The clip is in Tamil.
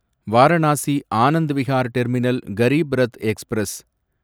Varanasi Anand Vihar terminal Garib Rath express